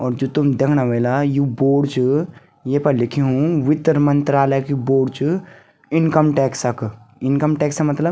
और जू तुम दयेखणा वेला यु बोर्ड च येफर लिख्युं वित्तर मंत्रालय क्यू बोर्ड च इनकम टैक्स क इनकम टैक्सा मतलब।